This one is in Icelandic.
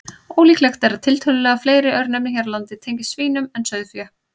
Ólíklegt er að tiltölulega fleiri örnefni hér á landi tengist svínum en sauðfé.